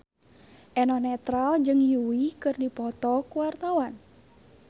Eno Netral jeung Yui keur dipoto ku wartawan